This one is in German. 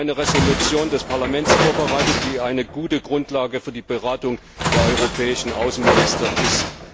Wir haben eine Entschließung des Parlaments vorbereitet, die eine gute Grundlage für die Beratung der europäischen Außenminister ist.